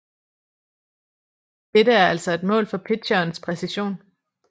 Dette er altså et mål for pitcherens præcision